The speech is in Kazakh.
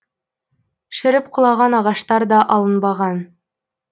шіріп құлаған ағаштар да алынбаған